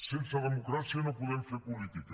sense democràcia no podem fer política